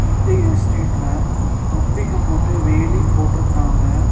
இந்த எஸ்டேட்ல கம்பிங்க போட்டு வேலி போட்ருக்கராங்க.